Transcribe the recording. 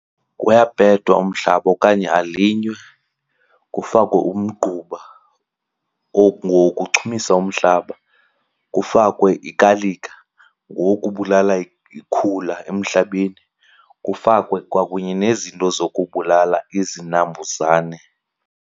Kuyapethwa umhlaba okanye alinywe kufakwe umgquba, ngowokuchumisa umhlaba. Kufakwe ikalika, ngowokubulala ikhula emhlabeni. Kufakwe kwakunye nezinto zokubulala izinambuzane.